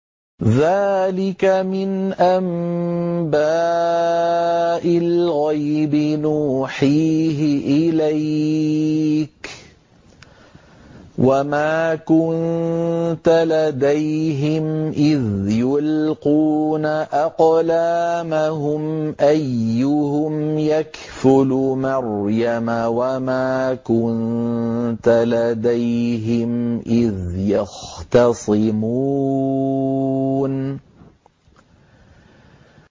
ذَٰلِكَ مِنْ أَنبَاءِ الْغَيْبِ نُوحِيهِ إِلَيْكَ ۚ وَمَا كُنتَ لَدَيْهِمْ إِذْ يُلْقُونَ أَقْلَامَهُمْ أَيُّهُمْ يَكْفُلُ مَرْيَمَ وَمَا كُنتَ لَدَيْهِمْ إِذْ يَخْتَصِمُونَ